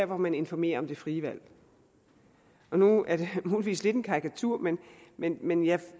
hvor man informerer om det frie valg nu er det muligvis lidt en karikatur men men jeg